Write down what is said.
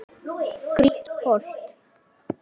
Grýtt holt.